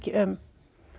um